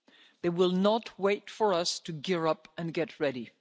They will not wait for us to gear up and get